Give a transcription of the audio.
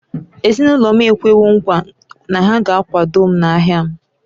Ezinụlọ m ekwewo nkwa na ha ga-akwado m n’ahịa m